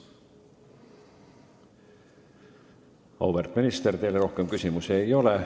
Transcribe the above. Auväärt minister, teile rohkem küsimusi ei ole.